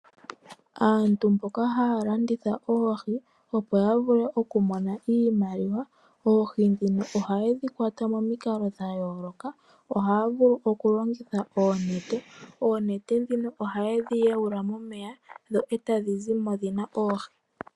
Aantu mboka haya landitha oohi opo ya vule okumona iimaliwa, oohi ndhino ohaye dhi kwata momikalo dha yooloka. Ohaya vulu okulongitha oonete. Oonete ndhino ohaye dhi yawula momeya dho e tadhi zi mo dhi na oohi.